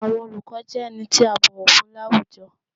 Àwọn oluko jẹ ení ti a bọwọ fun lawújọ́